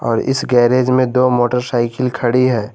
और इस गैरेज में दो मोटरसाइकिल खड़ी है।